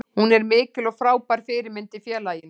Hún er mikil og frábær fyrirmynd í félaginu.